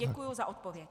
Děkuji za odpověď.